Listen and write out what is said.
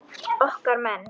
Okkar menn